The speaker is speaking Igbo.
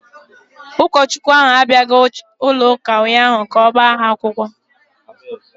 Ụkọchukwu ahụ abịaghị chọọchị ụnyahụ ka ọ gbaa ha akwụkwọ.